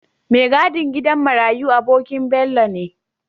Me gadin gidan marayi abonkin Bello ne